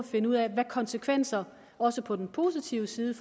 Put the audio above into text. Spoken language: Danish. finde ud af hvilke konsekvenser også på den positive side